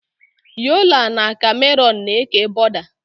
Yọla na Kamerun na-eke bọda.